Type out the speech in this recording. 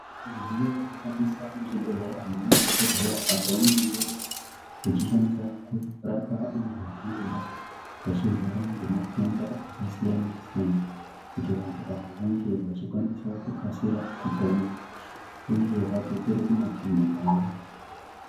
Midziyo ino shandiswa mu zvibhedhlera nge madhokodheya apo pavanenge vechi shandisa kurapa antu akangodai achirwara nge matenda aka siyana siyana kuti vantu ava vange vachikwanisa kukasira kupona uye vadzokere ku makanyi kwavo.